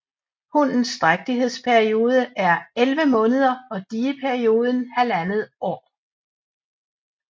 Hunnens drægtighedsperiode er elleve måneder og dieperioden halvandet år